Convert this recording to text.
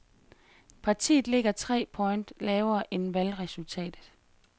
Partiet ligger tre point lavere end valgresultatet.